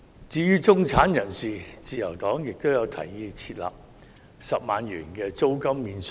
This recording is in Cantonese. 至於中產人士，自由黨也提議設立10萬元租金免稅額。